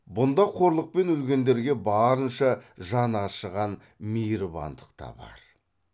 бұнда қорлықпен өлгендерге барынша жан ашыған мейірбандық та бар